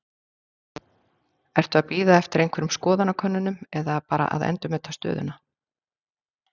Ertu að bíða eftir einhverjum skoðanakönnunum eða bara endurmeta stöðuna?